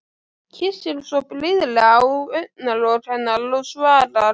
Kyssir svo blíðlega á augnalok hennar og svarar: